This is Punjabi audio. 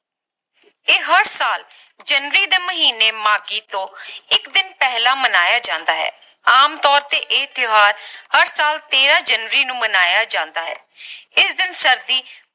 ਇਹ ਹਰ ਸਾਲ ਜਨਵਰੀ ਦੇ ਮਹੀਨੇ ਮਾਘੀ ਤੋਂ ਇਕ ਦਿਨ ਪਹਿਲਾਂ ਮਨਾਇਆ ਜਾਂਦਾ ਹੈ ਆਮ ਤੋਰ ਤੇ ਇਹ ਤਿਓਹਾਰ ਹਰ ਸਾਲ ਤੇਰਾਂ ਜਨਵਰੀ ਨੂੰ ਮਨਾਇਆ ਜਾਂਦਾ ਹੈ ਇਸ ਦਿਨ ਸਰਦੀ